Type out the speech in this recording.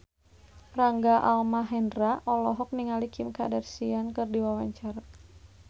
Rangga Almahendra olohok ningali Kim Kardashian keur diwawancara